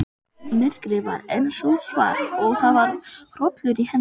Myrkrið var enn sótsvart og það var hrollur í henni.